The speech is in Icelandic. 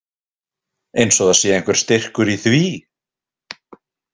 Eins og það sé einhver styrkur í því.